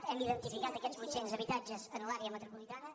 hem identificat aquests vuit·cents habitatges en l’àrea metropolitana